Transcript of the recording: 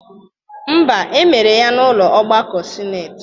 Mba, emere ya n'ụlọ ọgbakọ sineti